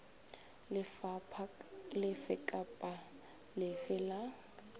lefapha lefe kapa lefe la